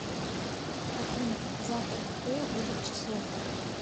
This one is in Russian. афина завтра какое будет число